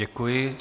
Děkuji.